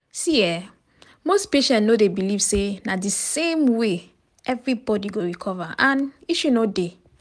see[um]most patient no dey believe say na di same way everybody go recover and issue no dey.